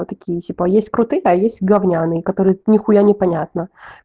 а такие ещё есть крутые а есть говняные которые нехуя непонятно